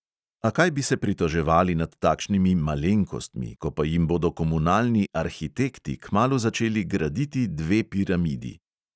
A kaj bi se pritoževali nad takšnimi "malenkostmi", ko pa jim bodo komunalni "arhitekti" kmalu začeli graditi dve piramidi.